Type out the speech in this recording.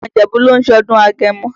Àwọn Ìjẹ̀bú ló ń ṣọdún agẹmọ.